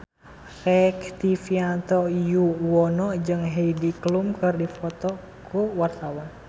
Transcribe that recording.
Rektivianto Yoewono jeung Heidi Klum keur dipoto ku wartawan